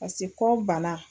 Pase kɔ bana.